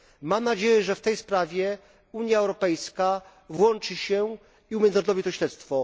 Mam nadzieję, że w tej sprawie Unia Europejska włączy się i umiędzynarodowi to śledztwo.